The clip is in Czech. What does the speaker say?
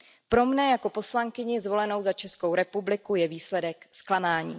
Pro mne jako poslankyni zvolenou za Českou republiku je výsledek zklamáním.